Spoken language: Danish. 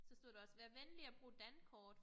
Så stod der også vær venlig at bruge Dankort